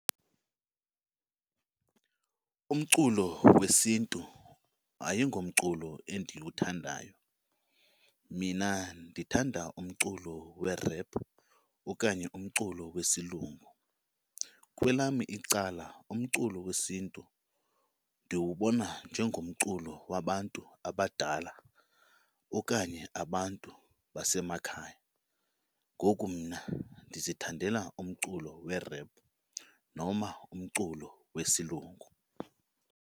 Umculo wesiNtu ayingomculo endiwuthandayo. Mina ndithanda umculo we-rap okanye umculo wesilungu. Kwelam icala umculo wesiNtu ndiwubona njengomculo wabantu abadala okanye abantu basemakhaya, ngoku mna ndizithandela umculo we-rap noma umculo wesilungu.